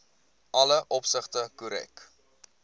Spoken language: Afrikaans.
alle opsigte korrek